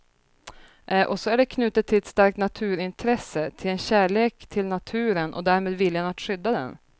Och så är det knutet till ett starkt naturintresse, till en kärlek till naturen och därmed viljan att skydda den.